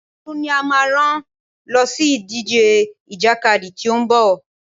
Tolú ni a máa rán lọ sí ìdíje ìjàkadì tí ó ń bọ̀.